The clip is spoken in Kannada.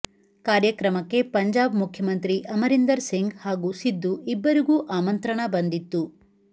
ಕಾರ್ಯಕ್ರಮಕ್ಕೆ ಪಂಜಾಬ್ ಮುಖ್ಯಮಂತ್ರಿ ಅಮರಿಂದರ್ ಸಿಂಗ್ ಹಾಗೂ ಸಿಧು ಇಬ್ಬರುಗೂ ಆಮಂತ್ರಣ ಬಂದಿತ್ತು